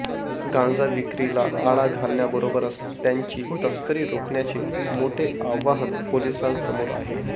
गांजा विक्रीला आळा घालण्याबरोबरच त्याची तस्करी रोखण्याचे मोठे आव्हान पोलिसांसमोर आहे